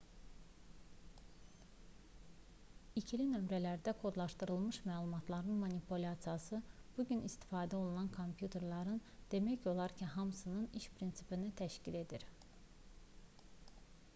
i̇kili nömrələrlə kodlaşdırılmış məlumatların manipulyasiyası bu gün istifadə olunan kompüterlərin demək olar ki hamısının iş prinsipini təşkil edir